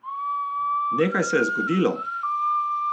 Nekaj se je zgodilo!